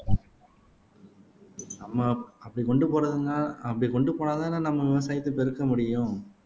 நம்ம அப்படி கொண்டு போறதுன்னா அப்படி கொண்டு போனாதானே நம்ம விவசாயத்தை, பெருக்க முடியும்